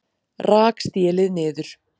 Rak stélið niður